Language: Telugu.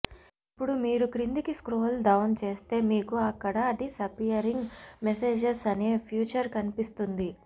ఇప్పుడు మీరు క్రిందికి స్క్రోల్ డౌన్ చేస్తే మీకు అక్కడ డిస్అపియరింగ్ మెసేజెస్ అనే ఫీచర్ కనిపిస్తుంది